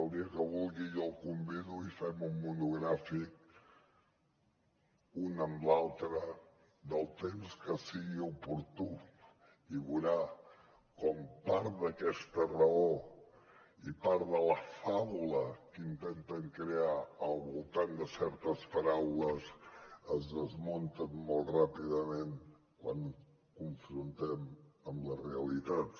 el dia que vulgui jo el convido i fem un monogràfic un amb l’altre del temps que sigui oportú i veurà com part d’aquesta raó i part de la faula que intenten crear al voltant de certes paraules es desmunten molt ràpidament quan ho confrontem amb les realitats